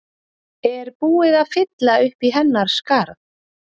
Er búið að fylla uppí hennar skarð?